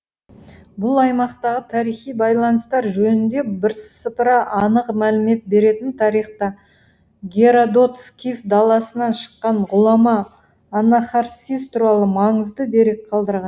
бұл аймақтағы тарихи байланыстар жөнінде бірсыпыра анық мәлімет беретін тарихта геродот скиф даласынан шыққан ғұлама анахарсис туралы маңызды дерек қалдырған